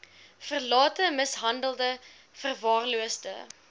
verlate mishandelde verwaarloosde